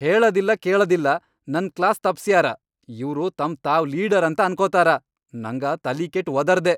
ಹೇಳದಿಲ್ಲಾ ಕೇಳದಿಲ್ಲಾ ನನ್ ಕ್ಲಾಸ್ ತಪ್ಸ್ಯಾರ ಇವ್ರು ತಮ್ ತಾವ್ ಲೀಡರ್ ಅಂತ ಅನ್ಕೊತಾರ, ನಂಗ ತಲಿ ಕೆಟ್ ವದರ್ದೆ.